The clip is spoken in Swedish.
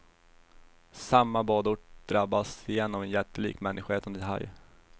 Samma badort drabbas igen av en jättelik, människoätande haj.